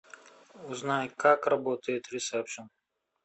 узнай как работает ресепшн